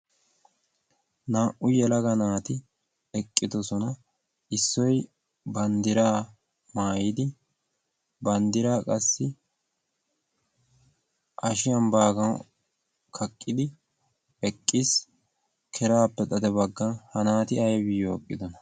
Naa'u yelaga naati eqqidoosona issoy banddira maayyidi banddira qassi hashshiyaan kaqqidi eqqiis. ha naati aybbaw eqqidoona?